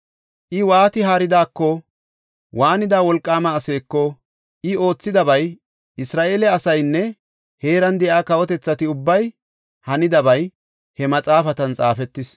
I waati haaridako, waanida wolqaama aseeko, I oothidabay, Isra7eele asaynne heeran de7iya kawotethati ubbay hanidabay he maxaafatan xaafetis.